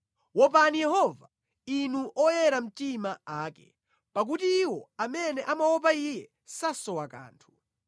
Wopani Yehova inu oyera mtima ake, pakuti iwo amene amaopa Iye sasowa kanthu.